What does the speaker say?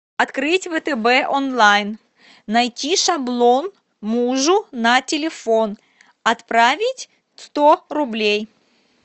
открыть втб онлайн найти шаблон мужу на телефон отправить сто рублей